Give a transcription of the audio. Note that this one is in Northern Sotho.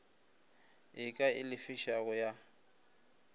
e ka e lefišago ya